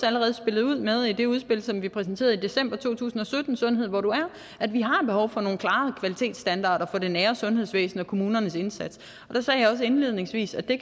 allerede spillede ud med i det udspil som vi præsenterede i december to tusind og sytten sundhed hvor du er at vi har behov for nogle klare kvalitetsstandarder for det nære sundhedsvæsen og kommunernes indsats og der sagde jeg også indledningsvis at det